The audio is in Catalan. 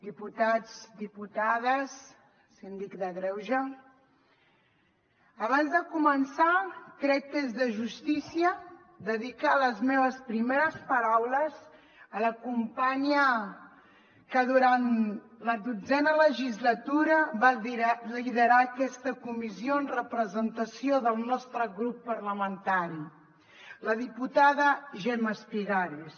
diputats diputades síndic de greuges abans de començar crec que és de justícia dedicar les meves primeres paraules a la companya que durant la dotzena legislatura va liderar aquesta comissió en representació del nostre grup parlamentari la diputada gemma espigares